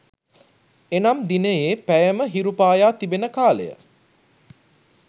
එනම් දිනයේ පැයම හිරු පායා තිබෙන කාලය